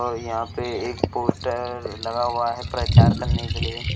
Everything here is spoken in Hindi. और यहां पे एक पोस्टर लगा हुआ है प्रचार करने के लिए।